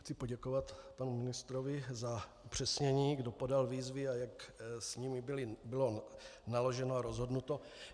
Chci poděkovat panu ministrovi za upřesnění, kdo podal výzvy a jak s nimi bylo naloženo a rozhodnuto.